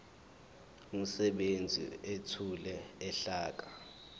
umsebenzi ethule uhlaka